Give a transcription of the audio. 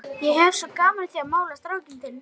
Ég hef svo gaman af að mála strákinn þinn.